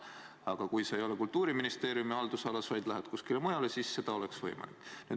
Aga kui sa ei ole Kultuuriministeeriumi haldusalas, vaid kuskil mujal, siis see oleks võimalik.